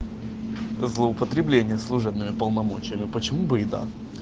злоупотребление служебными полномочиями почему бы и да